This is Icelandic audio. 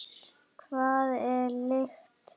Hvað er lykt?